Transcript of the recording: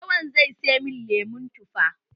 Lawan zai siya min lemon tufa.